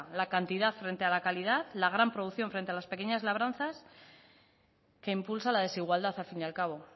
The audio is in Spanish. la cantidad frente a la calidad la gran producción frente a las pequeñas labranzas que impulsa la desigualdad al fin al cabo